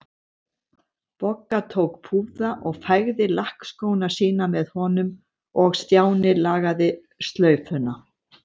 Bogga tók púða og fægði lakkskóna sína með honum og Stjáni lagaði slaufuna.